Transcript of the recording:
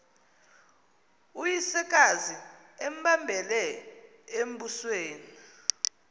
uyisekazi embambele embusweni